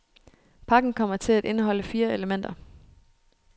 Pakken kommer til at indeholde fire elementer.